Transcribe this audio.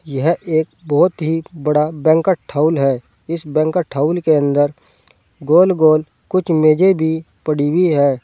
यह एक बहोत ही बड़ा बैंकट हाउल है इस बैंकट हाउल के अंदर गोल गोल कुछ मेजे भी पड़ी हुई है।